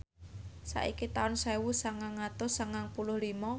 saiki taun sewu sangang atus sangang puluh lima